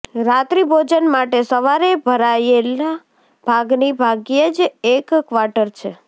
રાત્રિભોજન માટે સવારે ભરાયેલા ભાગની ભાગ્યે જ એક ક્વાર્ટર છે